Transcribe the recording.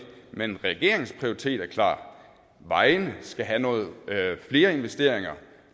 men regeringens prioritet er klar vejene skal have nogle flere investeringer